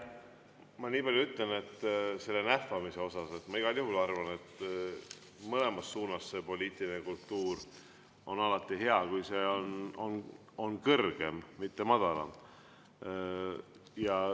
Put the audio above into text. Ma niipalju ütlen, et selle nähvamise kohta ma igal juhul arvan, et on alati hea, kui mõlemas suunas on see poliitiline kultuur kõrgem, mitte madalam.